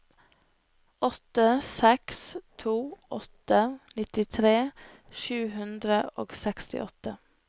åtte seks to åtte nittitre sju hundre og sekstiåtte